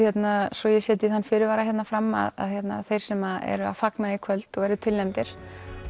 svo ég setji þann fyrirvar hér fram að þeir sem eru að fagna í kvöld og eru tilnefndir